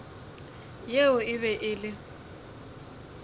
yeo e be e le